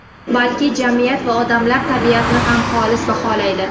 balki… jamiyat va odamlar tabiatini ham xolis baholaydi.